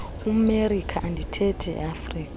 emelika andithethi eafrika